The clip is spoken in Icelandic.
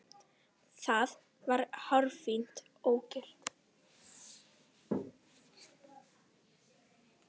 Það var hárfínt ógilt.